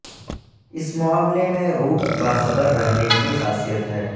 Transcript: اس معاملے میں روٹ باخبر رہنے کی خاصیت ہے